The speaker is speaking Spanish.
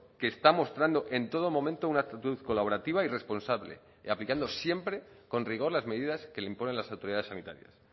que está mostrando en todo momento una actitud colaborativa y responsable y aplicando siempre con rigor las medidas que le imponen las autoridades sanitarias